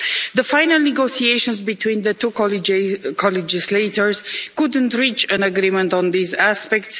The final negotiations between the two co-legislators couldn't reach an agreement on these aspects.